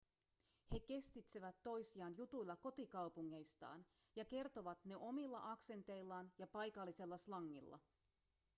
he kestitsevät toisiaan jutuilla kotikaupungeistaan ja kertovat ne omilla aksenteillaan ja paikallisella slangilla